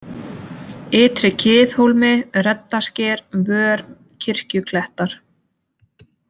Ytri-Kiðhólmi, Reddasker, Vör, Kirkjuklettar